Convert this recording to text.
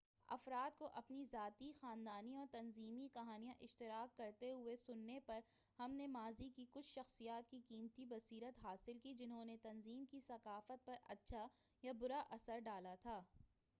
افراد کو اپنی ذاتی خاندانی اور تنظیمی کہانیاں اشتراک کرتے ہوئے سننے پر ہم نے ماضی کی کچھ شخصیات کی قیمتی بصیرت حاصل کی جنہوں نے تنظیم کی ثقافت پر اچّھا یا برا اثر ڈالا تھا